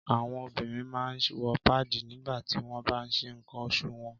Àwọn obìnrin máa ń wọ páàdì nígba ti won baan nse nkan oṣù wọn.